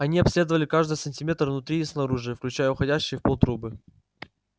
они обследовали каждый сантиметр внутри и снаружи включая уходящие в пол трубы